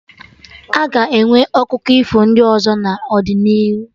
A ga-enwe akụkọ ifo ndị ọzọ n'ọdịnihu